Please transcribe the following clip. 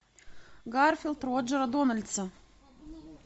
гарфилд роджера дональдса